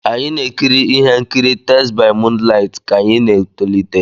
Anyị na-ekiri ihe nkiri "Tales by moonlight" ka anyị na-etolite.